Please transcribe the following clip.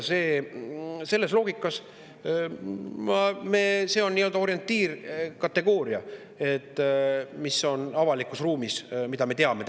Selles loogikas on see avalikus ruumis nii-öelda orientiirkategooria selle võimevajaduse soetamise kohta, mida me teame.